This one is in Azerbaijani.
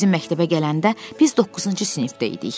O bizim məktəbə gələndə biz doqquzuncu sinifdə idik.